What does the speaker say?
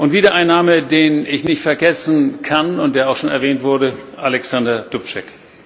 Wieder ein Name, den ich nicht vergessen kann und der auch schon erwähnt wurde Alexander Dubček.